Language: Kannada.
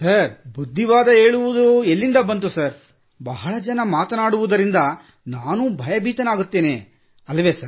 ಬುದ್ಧಿವಾದ ಹೇಳುವಿದೆಲ್ಲಿಂದ ಸರ್ ಬಹಳ ಜನ ಮಾತನಾಡುವುದರಿಂದ ನಾನೂ ಭಯಭೀತನಾಗುತ್ತೇನೆ ಅಲ್ಲವೇ ಸರ್